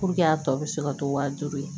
Puruke a tɔ bɛ se ka to wa duuru ye